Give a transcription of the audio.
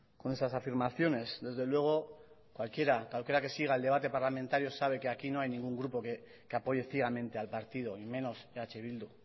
con esas afirmaciones desde luego cualquiera que siga el debate parlamentario sabe que aquí no hay ningún grupo que apoye ciegamente al partido y menos eh bildu